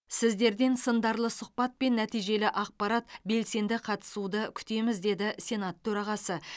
сіздерден сындарлы сұхбат пен нәтижелі ақпарат белсенді қатысуды күтеміз деді сенат төрағасы